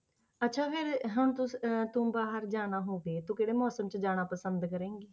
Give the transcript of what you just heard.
ਅੱਛਾ ਫਿਰ ਹੁਣ ਤੁਸ~ ਅਹ ਤੂੰ ਬਾਹਰ ਜਾਣਾ ਹੋਵੇ ਤੂੰ ਕਿਹੜੇ ਮੌਸਮ 'ਚ ਜਾਣਾ ਪਸੰਦ ਕਰੇਂਗੀ?